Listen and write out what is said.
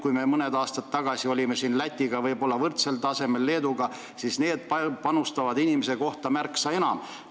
Kui mõni aasta tagasi olime Lätiga võib-olla võrdsel tasemel, ka Leeduga, siis nemad panustavad nüüd inimese kohta märksa enam.